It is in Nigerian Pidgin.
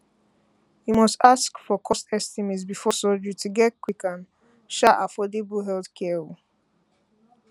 you must ask for cost estimate before surgery to get quick and um affordable um healthcare